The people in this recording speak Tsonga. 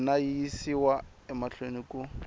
wena yi yisiwa mahlweni ku